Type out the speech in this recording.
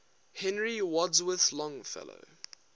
henry wadsworth longfellow